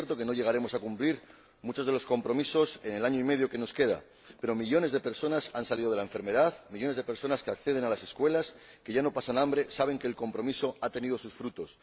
Es cierto que no llegaremos a cumplir muchos de los compromisos en el año y medio que nos queda, pero millones de personas que se han sobrepuesto a la enfermedad, millones de personas que acceden a las escuelas o que ya no pasan hambre saben que el compromiso ha tenido sus frutos.